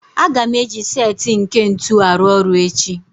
Aga m eji set nke ntu arụ ọrụ echi